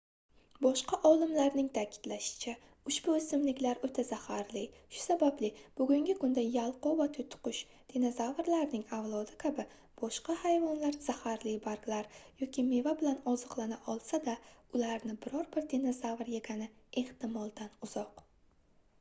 boshqa olimlarning ta'kidlashicha ushbu o'simliklar o'ta zaharli shu sababli bugungi kunda yalqov va to'tiqush dinozavrlarning avlodi kabi boshqa hayvonlar zaharli barglar yoki meva bilan oziqlana olsa-da ularni biror bir dinozavr yegani ehtimoldan uzoq